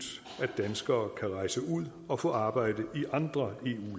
danskere kan rejse ud og få arbejde i andre